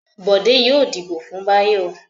Bọ̀dé yóò dìbò fún Báyọ̀.